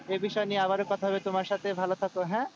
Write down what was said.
এ বিষয় নিয়ে আবারও কথা হবে তোমার সাথে ভালো থাকো, হ্যাঁ?